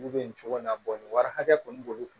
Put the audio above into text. Olu bɛ nin cogo in na nin wari hakɛ kɔni b'olu kun